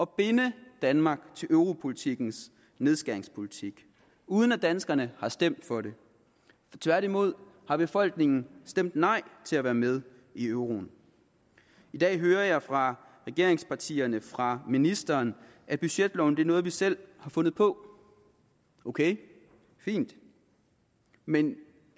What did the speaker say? binde danmark til europolitikkens nedskæringspolitik uden at danskerne har stemt for det tværtimod har befolkningen stemt nej til at være med i euroen i dag hører jeg fra regeringspartierne fra ministeren at budgetloven er noget vi selv har fundet på ok det er fint men